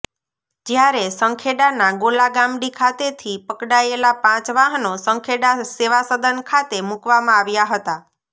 જ્યારે સંખેડાના ગોલાગામડી ખાતે થી પકડાયેલા પાંચ વાહનો સંખેડા સેવા સદન ખાતે મુકવામાં આવ્યા હતા